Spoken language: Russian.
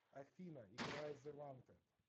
афина играй зэ вантед